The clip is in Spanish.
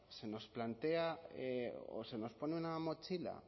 se nos plantea o se nos pone una mochila